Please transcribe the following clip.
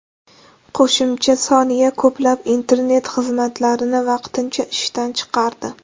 Qo‘shimcha soniya ko‘plab internet xizmatlarini vaqtincha ishdan chiqardi.